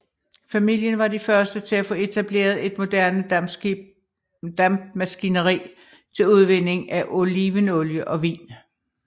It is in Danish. Familien var de første til at få etableret et moderne dampmaskineri til udvinding af olivenolie og vin